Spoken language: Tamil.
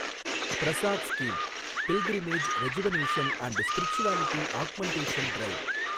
Prasad scheme, pilgrimage rejuvenation and spirituality augmentation drive